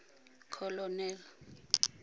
colonel